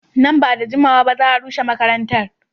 Nan ba da jimawa ba za a rushe makarantar.